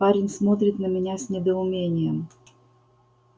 парень смотрит на меня с недоумением